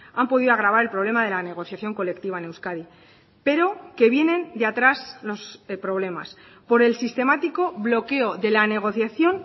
han podido agravar el problema de la negociación colectiva en euskadi pero que vienen de atrás los problemas por el sistemático bloqueo de la negociación